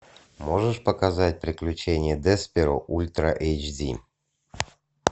можешь показать приключения десперо ультра эйч ди